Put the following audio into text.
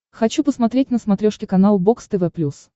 хочу посмотреть на смотрешке канал бокс тв плюс